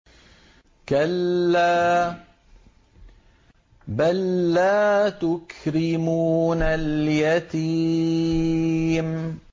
كَلَّا ۖ بَل لَّا تُكْرِمُونَ الْيَتِيمَ